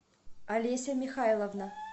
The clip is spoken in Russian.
олеся михайловна